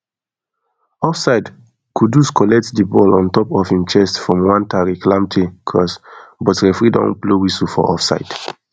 offside kudus collect di ball on top of im chest from one tariq lamptery cross but referee don blow whistle for offside